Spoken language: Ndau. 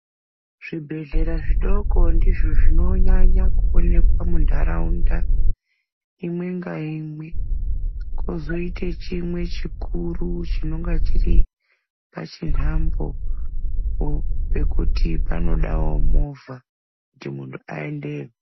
Zvibhedhlera zvidoko ndizvo zvinonyanya kuonekwa munharaunda imwenga imwe kozoite chimwe chikuru chinonga chiri pachinhambo pekuti panodawo movha kuti muntu aendeyo.